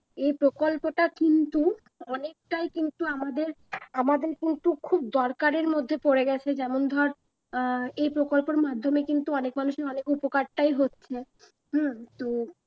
এই প্রকল্পটা কিন্তু অনেকটাই কিন্তু আমাদের আমাদের কিন্তু খুব দরকারের মধ্যে পড়ে গেছে যেমন ধর আহ এই প্রকল্পের মাধ্যমে কিন্তু অনেক মানুষের অনেক উপকারটাই হচ্ছে হম তো